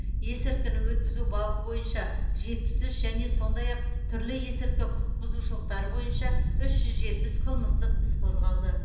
есірткіні өткізу бабы бойынша жетпіс үш және сондай ақ түрлі есірткі құқық бұзушылықтары бойынша үш жетпіс қылмыстық іс қозғалды